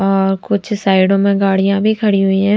और कुछ साइडों में गाड़ियाँं भी खड़ी हुई हैं ।